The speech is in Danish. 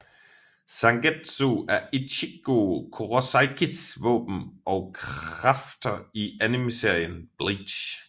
Zangetsu er Ichigo Kurosakis våben og kræfter i animeserien Bleach